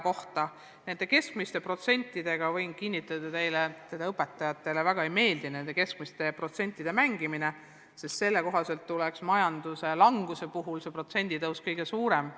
Mis puutub keskmistesse protsentidesse, siis võin teile kinnitada, et ega õpetajatele väga ei meeldi nende keskmiste protsentidega mängimine, sest selle kohaselt tuleks majanduse languse puhul tõus protsentides kõige suurem.